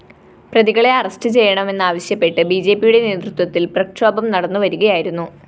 പ്രതികളെ അറസ്റ്റ്‌ ചെയ്യണമെന്നാവശ്യപ്പെട്ട് ബിജെപിയുടെ നേതൃത്വത്തില്‍ പ്രക്ഷോപം നടന്നുവരികയായിരുന്നു